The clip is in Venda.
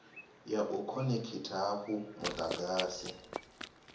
ya u khonekhitha hafhu mudagasi